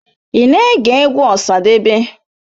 Ị na-ege egwu Osadebe?